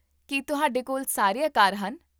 ਕੀ ਤੁਹਾਡੇ ਕੋਲ ਸਾਰੇ ਆਕਾਰ ਹਨ?